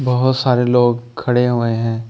बहुत सारे लोग खड़े हुए हैं।